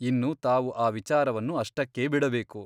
ಇನ್ನು ತಾವು ಆ ವಿಚಾರವನ್ನು ಅಷ್ಟಕ್ಕೇ ಬಿಡಬೇಕು.